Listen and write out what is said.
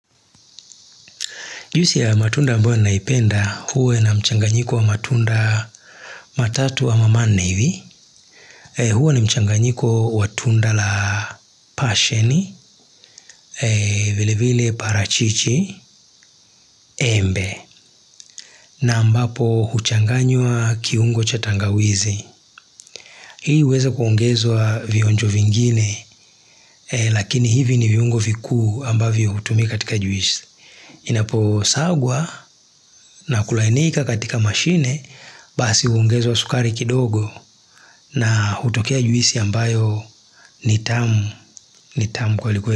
Juisi ya matunda ambayo naipenda, huwa na mchanganyiko wa matunda matatu wa ama manne hivi. Huwa ni mchanganyiko wa tunda la pasheni, vile vile parachichi, embe. Na ambapo huchanganywa kiungo cha tangawizi. Hii uweza kuongezwa vionjo vingine, lakini hivi ni viungo vikuu ambavyo hutumi katika juisi. Inapo sagwa na kulainika katika mashine basi ungezwa sukari kidogo na hutokea juisi ambayo nitamu nitamu kweli kwe.